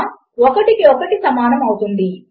and operator మరొక పద్ధతిలో పని చేస్తుంది